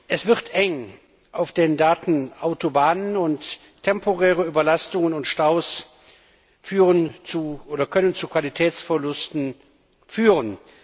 Es wird eng auf den Datenautobahnen, und temporäre Überlastungen und Staus können zu Qualitätsverlusten führen.